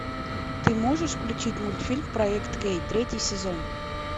ты можешь включить мультфильм проект кей третий сезон